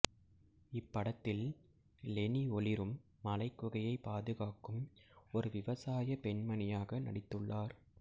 இப்படத்தில் லெனி ஒளிரும் மலைக்குகையை பாதுகாக்கும் ஒரு விவசாயப் பெண்மணியாக நடித்துள்ளார்